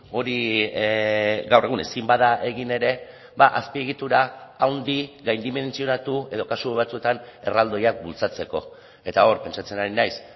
hori gaur egun ezin bada egin ere azpiegitura handi gaindimentsionatu edo kasu batzuetan erraldoiak bultzatzeko eta hor pentsatzen ari naiz